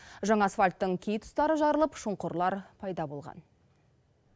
жаңа асфальттың кей тұстары жарылып шұңқырлар пайда болған